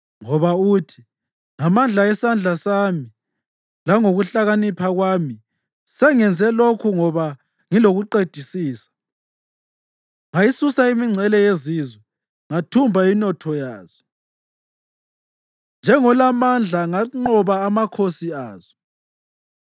Ngoba uthi: “ ‘Ngamandla esandla sami langokuhlakanipha kwami sengenze lokhu ngoba ngilokuqedisisa. Ngayisusa imingcele yezizwe, ngathumba inotho yazo; njengolamandla nganqoba amakhosi azo.